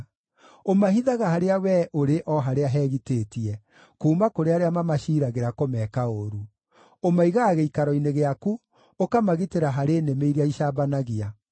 Ũmahithaga harĩa Wee ũrĩ o harĩa hegitĩtie, kuuma kũrĩ arĩa mamaciiragĩra kũmeka ũũru; ũmaigaga gĩikaro-inĩ gĩaku, ũkamagitĩra harĩ nĩmĩ iria icambanagia.